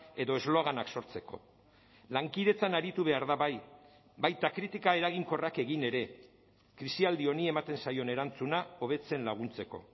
edo esloganak sortzeko lankidetzan aritu behar da bai baita kritika eraginkorrak egin ere krisialdi honi ematen zaion erantzuna hobetzen laguntzeko